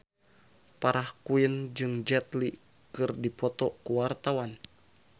Farah Quinn jeung Jet Li keur dipoto ku wartawan